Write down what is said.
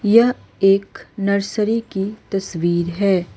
यह एक नर्सरी की तस्वीर है।